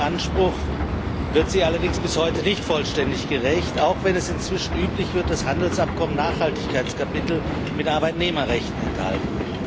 Diesem Anspruch wird sie allerdings bis heute nicht vollständig gerecht, auch wenn es inzwischen üblich wird, dass Handelsabkommen Nachhaltigkeitskapitel mit Arbeitnehmerrechten enthalten.